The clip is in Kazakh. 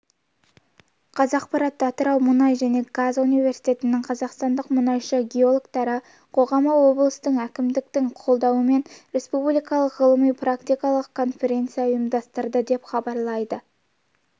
қазақпарат атырау мұнай және газ университетінің қазақстандық мұнайшы геологтары қоғамы облыстық әкімдіктің қолдауымен республикалық ғылыми-практикалық конференция ұйымдастырды деп хабарлайды